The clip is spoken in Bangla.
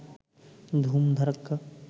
ধুম ধাড়াক্কা